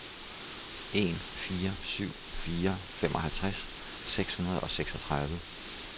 en fire syv fire femoghalvtreds seks hundrede og seksogtredive